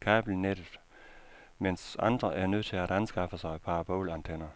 kabelnettet, mens andre er nødt til at anskaffe sig parabolantenner.